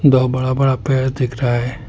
दो बड़ा बड़ा पेड़ दिख रहा है।